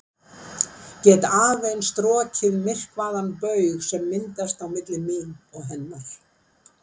Get aðeins strokið myrkvaðan baug sem myndast á milli mín og hennar.